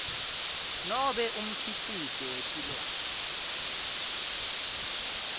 nobe umkhicito wetilwane